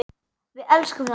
Við elskum þá.